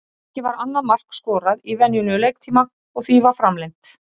Ekki var annað mark skorað í venjulegum leiktíma og því var framlengt.